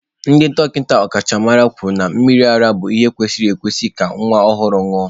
Ndị dọkịta ọkachamara kwuru na mmiri ara bụ ihe kwesịrị ekwesị ka nwa ọhụrụ ṅụọ.